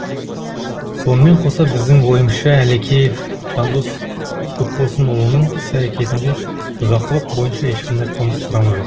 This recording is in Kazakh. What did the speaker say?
сонымен қоса біздің ойымызша әлекеев жандос көпбосынұлының іс әрекетінде бұзақылық бойынша ешқандай қылмыс құрамы жоқ